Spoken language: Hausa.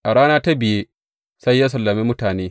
A rana ta biye sai ya sallame mutane.